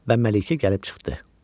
Və Məlikə gəlib çıxdı.